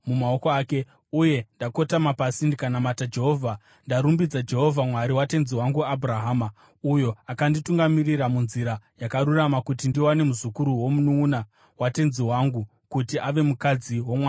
uye ndakotama pasi ndikanamata Jehovha. Ndarumbidza Jehovha, Mwari watenzi wangu Abhurahama, uyo akanditungamirira munzira yakarurama kuti ndiwane muzukuru womununʼuna watenzi wangu kuti ave mukadzi womwanakomana wake.